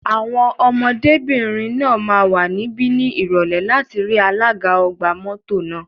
Àwọn ọmọdébìnrin náà máa wà níbí ní Ìrọ̀lẹ́ láti rí alága ọgbà mọ́tò náà.